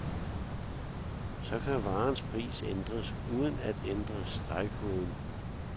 Så kan varens pris ændres, uden at ændre stregkoden.